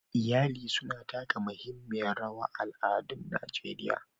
Iyali suna taka muhimmiyar rawa a al'adun Najeriya.